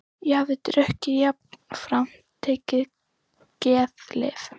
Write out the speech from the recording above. Ég hafði drukkið og jafnframt tekið geðlyf.